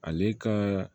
Ale ka